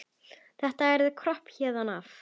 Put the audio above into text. Þetta yrði kropp héðan af.